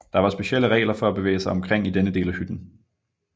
Der var specielle regler for at bevæge sig omkring i denne del af hytten